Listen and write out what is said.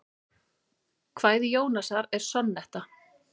Kvæði Jónasar er sonnetta.